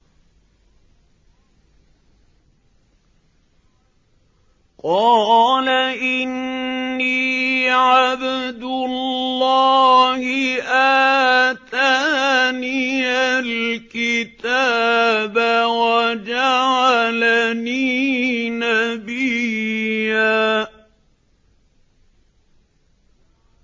قَالَ إِنِّي عَبْدُ اللَّهِ آتَانِيَ الْكِتَابَ وَجَعَلَنِي نَبِيًّا